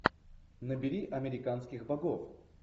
набери американских богов